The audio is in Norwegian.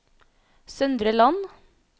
Søndre Land